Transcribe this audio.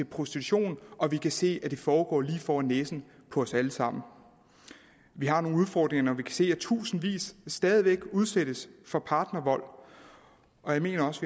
prostitution og vi kan se at det foregår lige for næsen af os alle sammen vi har nogle udfordringer når vi kan se at tusindvis stadig væk udsættes for partnervold og jeg mener også